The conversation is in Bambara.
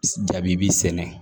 Jaabi bi sɛnɛ